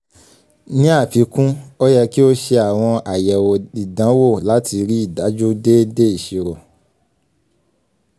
ní àfikún ó yẹ kí ó ṣe àwọn àyẹ̀wò ìdánwò láti rí dájú déédé ìṣirò.